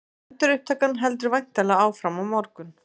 Endurupptakan heldur væntanlega áfram á morgun?